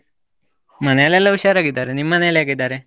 ಮನೆಲೆಲ್ಲಾ ಹುಷಾರಾಗಿದ್ದಾರೆ, ನಿಮ್ಮನೇಲಿ ಹೇಗಿದ್ದಾರೆ?